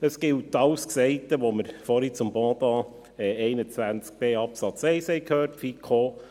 Es gilt alles Gesagte, das wir vorhin zum Pendant, zu Artikel 21b (neu) Absatz 1 gehört haben.